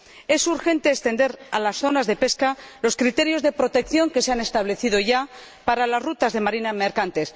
Es urgente extender a las zonas de pesca los criterios de protección que se han establecido ya para las rutas de marina mercante.